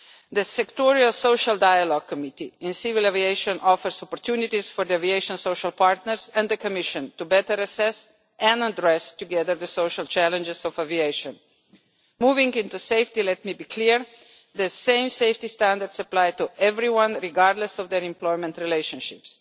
The Sectoral Social Dialogue Committee on Civil Aviation offers opportunities for the aviation social partners and the Commission to better assess and address together the social challenges of aviation. Moving on to safety, let me be clear that the same safety standards apply to everyone, regardless of their employment relationships.